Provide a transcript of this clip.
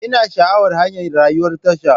Ina sha'awar hanyar rayuwan tasha.